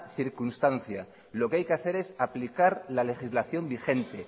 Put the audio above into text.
circunstancia lo que hay que hacer es aplicar la legislación vigente